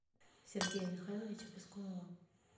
сергея михайловича пискунова